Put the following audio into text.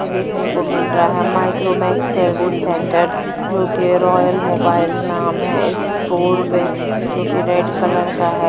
देखने को मिल रहा है। माइक्रोमैक्स सर्विस सेंटर जो कि मोबाइल नाम है इस बोर्ड पे जो कि रेड कलर का है।